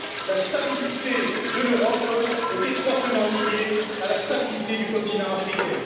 La stabilité de l'Europe est étroitement liée à la stabilité du continent africain.